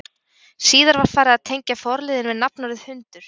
Síðar var farið að tengja forliðinn við nafnorðið hundur.